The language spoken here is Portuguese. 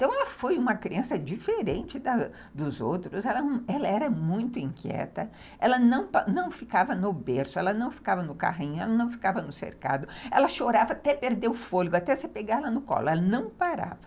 Então ela foi uma criança diferente das dos outros, ela era muito inquieta, ela não ficava no berço, ela não ficava no carrinho, ela não ficava no cercado, ela chorava até perder o fôlego, até você pegar ela no colo, ela não parava.